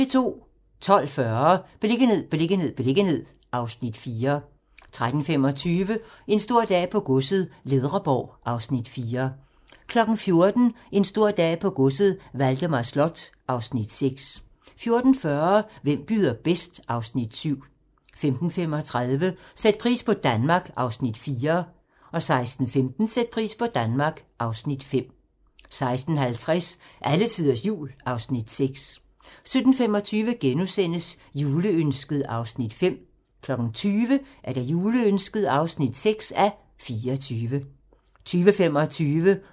12:40: Beliggenhed, beliggenhed, beliggenhed (Afs. 4) 13:25: En stor dag på godset - Ledreborg (Afs. 4) 14:00: En stor dag på godset - Valdemar Slot (Afs. 6) 14:40: Hvem byder bedst? (Afs. 7) 15:35: Sæt pris på Danmark (Afs. 4) 16:15: Sæt pris på Danmark (Afs. 5) 16:50: Alletiders Jul (Afs. 6) 17:25: Juleønsket (5:24)* 20:00: Juleønsket (6:24) 20:25: Håndbold: EM - Montenegro-Danmark (k)